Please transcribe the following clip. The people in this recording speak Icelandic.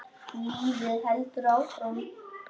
Lífið heldur áfram.